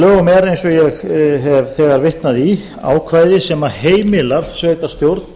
eins og ég hef þegar vitnað í ákvæði sem heimilar sveitarstjórn